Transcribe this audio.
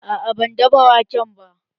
A'a, ban dafa wake ba